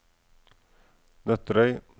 Nøtterøy